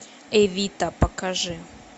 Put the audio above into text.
эвита покажи